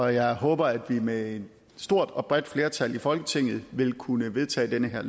jeg håber at vi med et stort og bredt flertal i folketinget vil kunne vedtage det her